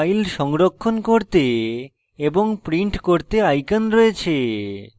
file সংরক্ষণ করতে এবং print করতে আইকন রয়েছে